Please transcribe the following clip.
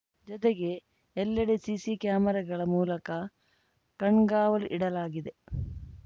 ಜತೆಗೆ ಎಲ್ಲೆಡೆ ಸಿಸಿ ಕ್ಯಾಮೆರಾಗಳ ಮೂಲಕ ಕಣ್ಗಾವಲು ಇಡಲಾಗಿದೆ